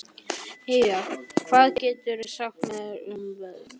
Eyva, hvað geturðu sagt mér um veðrið?